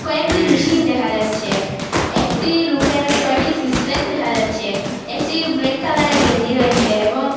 একটি মেশিন দেখা যাচ্ছে একটি লুকের ছয়টি সিস প্যাক দেখা যাচ্ছে একটি ব্ল্যাক কালারের গেঞ্জি রয়েসে এবং --